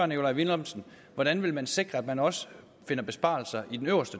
nikolaj villumsen hvordan man vil sikre at man også finder besparelser i den øverste